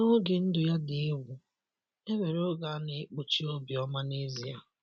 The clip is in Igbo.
N'oge ndụ ya dị egwu, e nwere oge a na-ekpuchi Obioma n'ezie.